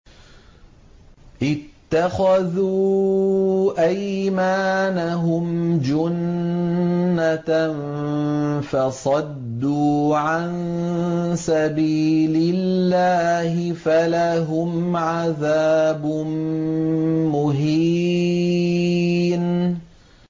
اتَّخَذُوا أَيْمَانَهُمْ جُنَّةً فَصَدُّوا عَن سَبِيلِ اللَّهِ فَلَهُمْ عَذَابٌ مُّهِينٌ